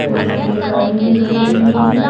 और यहां पर एक गाड़ी भी खड़ी हुई है।